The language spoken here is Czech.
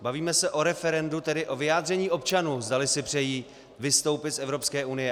Bavíme se o referendu, tedy o vyjádření občanů, zdali si přejí vystoupit z Evropské unie.